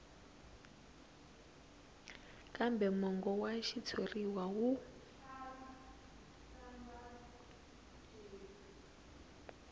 kambe mongo wa xitshuriwa wu